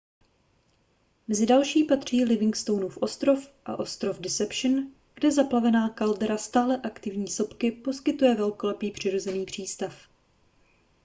mezi další patří livingstonův ostrov a ostrov deception kde zaplavená kaldera stále aktivní sopky poskytuje velkolepý přirozený přístav